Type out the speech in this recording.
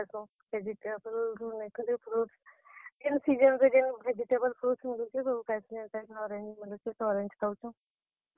ଆନୁଛନ୍, ନାଁ ହେତ ଯେନ୍ ଟା ନାଇଁ ମିଲ୍ ଲେ market ଯାଏସୁଁ ଆନସୁଁ। ହଁ, ଲେକିନ୍ ସବୁ ଖାଏଁସୁଁ, vegetable, fruits ଯେନ୍ season ରେ ଯେନ୍ ଟା ମିଲୁଛେ ।